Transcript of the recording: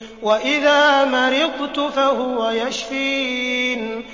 وَإِذَا مَرِضْتُ فَهُوَ يَشْفِينِ